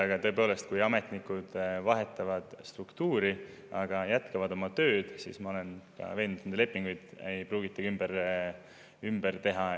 Aga tõepoolest, ma olen veendunud, et kui ametnikud vahetavad struktuuri, kuid jätkavad oma tööd, siis nende lepinguid ei pruugita isegi ümber teha.